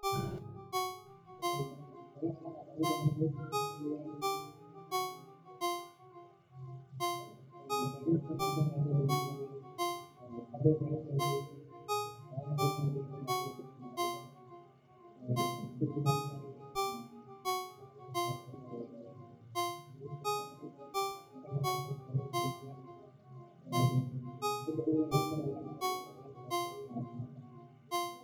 sidoo kale waa muhiim in ganacsatada badarka ay yeeshaan aqoon ku saabsan baahida suuqyada dibadda taas oo ka caawin karta inay beegsadaan dalal gaar ah oo raadinaya noocyada badarka ee kenya kasoo saarto sida galleyda, sarreenka, iyo masagada